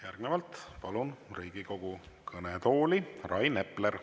Järgnevalt palun Riigikogu kõnetooli Rain Epleri.